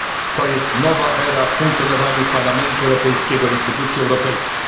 skokiem. To jest nowa era w funkcjonowaniu Parlamentu Europejskiego instytucji